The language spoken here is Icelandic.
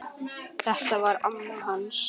Þetta var amma hans